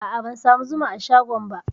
A'a, ban samu zuma a shagon ba.